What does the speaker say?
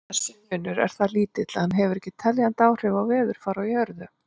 Þessi munur er það lítill að hann hefur ekki teljandi áhrif á veðurfar á jörðu.